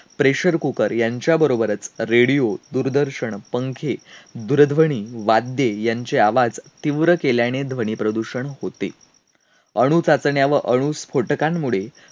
pressure cooker यांच्याबरोबरच radio, दूरदर्शन, पंखे, दूरध्वनी, वाद्ये यांचे आवाज तीव्र केल्याने ध्वनीप्रदूषण होते. अणुचाचण्या व अनुस्फोटकांमुळे